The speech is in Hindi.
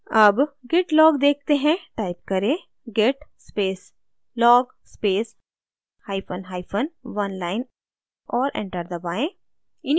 अब git log देखते हैं टाइप करें git space log space hyphen hyphen oneline और enter दबाएँ